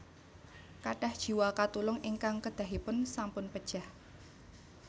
Kathah jiwa katulung ingkang kedahipun sampun pejah